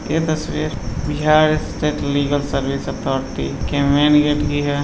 यह तस्वीर Bihar state legal service authority की मेन गेट की है।